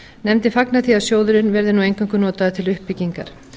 nefndin fagnar því að sjóðurinn verði nú eingöngu notaður til uppbyggingar